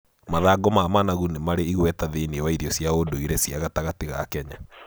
Mathangũ ma managu nĩmarĩ igweta thĩiniĩ wa irio cia ndũire cia gatagatĩ ga Kenya.